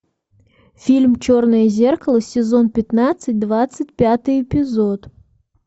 фильм черное зеркало сезон пятнадцать двадцать пятый эпизод